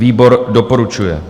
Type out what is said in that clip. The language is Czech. Výbor doporučuje.